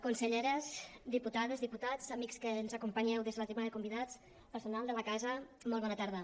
conselleres diputades diputats amics que ens acompanyeu des de la tribuna de convidats personal de la casa molt bona tarda